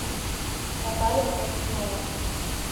наталья трофимова